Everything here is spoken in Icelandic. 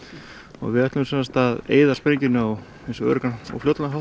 og við ætlum að eyða sprengjunni á eins öruggan hátt